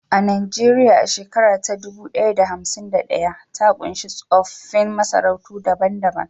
Nijeriya, a shekara ta dubu ɗaya da hamsin da ɗaya, ta ƙunshi tsoffin masarautu daban-daban